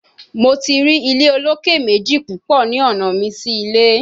Mo ti ri ile oloke meji pupọ ni ọna mi si ile